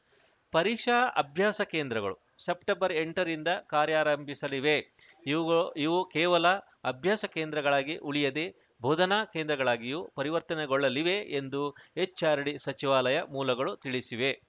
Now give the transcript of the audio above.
ಪರೀಕ್ಷಾ ಅಭ್ಯಾಸ ಕೇಂದ್ರಗಳು ಸೆಪ್ಟೆಂಬರ್ ಎಂಟರಿಂದ ಕಾರ್ಯಾರಂಭಿಸಲಿವೆ ಇವು ಕೇವಲ ಅಭ್ಯಾಸ ಕೇಂದ್ರಗಳಾಗಿ ಉಳಿಯದೆ ಬೋಧನಾ ಕೇಂದ್ರಗಳಾಗಿಯೂ ಪರಿವರ್ತನೆಗೊಳ್ಳಲಿವೆ ಎಂದು ಎಚ್‌ಆರ್‌ಡಿ ಸಚಿವಾಲಯ ಮೂಲಗಳು ತಿಳಿಸಿವೆ